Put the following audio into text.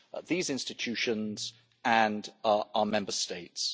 these institutions and our Member States.